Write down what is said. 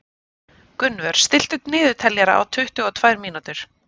Gunnvör, stilltu niðurteljara á tuttugu og tvær mínútur.